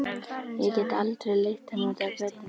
Ég get aldrei leitt hana út á götuna.